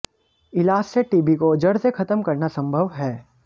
इलाज से टीबी को जड़ से खत्म करना संभव है